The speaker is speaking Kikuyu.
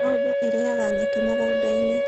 Ng'ombe irĩaga nyeki mũgũnda-inĩ.